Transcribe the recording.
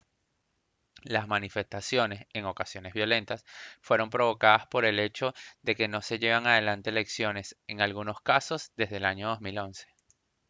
las manifestaciones en ocasiones violentas fueron provocadas por el hecho de que no se llevan adelante elecciones en algunos casos desde el año 2011